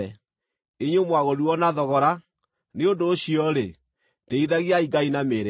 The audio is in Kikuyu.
inyuĩ mwagũrirwo na thogora. Nĩ ũndũ ũcio-rĩ, tĩĩithagiai Ngai na mĩĩrĩ yanyu.